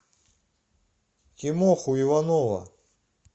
тимоху иванова